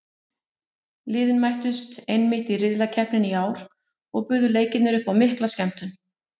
Liðin mættust einmitt í riðlakeppninni í ár og buðu leikirnir upp á mikla skemmtun.